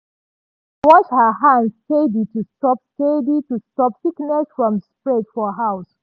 she dey wash her hands steady to stop steady to stop sickness from spread for house.